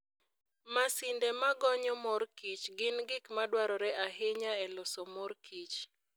Masinde ma gonyo mor kich gin gik madwarore ahinya e loso mor kich.